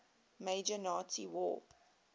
major nazi war